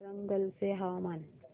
वरंगल चे हवामान